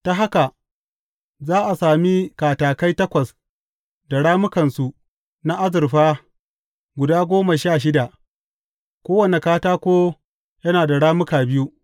Ta haka za a sami katakai takwas da rammukansu na azurfa guda goma sha shida, kowane katako yana da rammuka biyu.